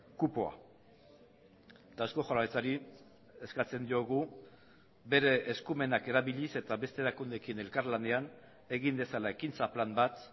kupoa eta eusko jaurlaritzari eskatzen diogu bere eskumenak erabiliz eta beste erakundeekin elkarlanean egin dezala ekintza plan bat